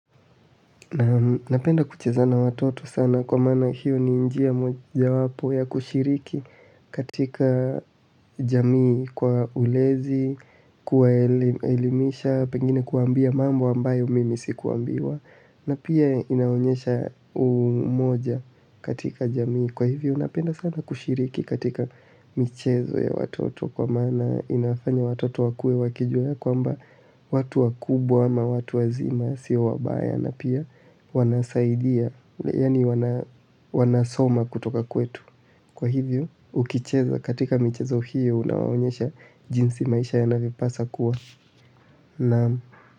Napenda kucheza na watoto sana kwa maana hiyo ni njia mojawapo ya kushiriki katika jamii kwa ulezi, kuwaelimisha, pengine kuambia mambo ambayo mimi sikuambiwa na pia inaonyesha umoja katika jamii kwa hivyo napenda sana kushiriki katika michezo ya watoto kwa maana inafanya watoto wakue wakijua ya kwamba watu wakubwa ama watu wazima sio wabaya na pia wanasaidia. Yaani wanasoma kutoka kwetu. Kwa hivyo, ukicheza katika michezo hiyo unawaonyesha jinsi maisha yanavyopaswa kuwa. Naamu.